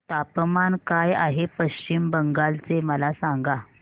तापमान काय आहे पश्चिम बंगाल चे मला सांगा